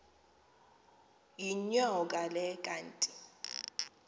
yinyoka le kanti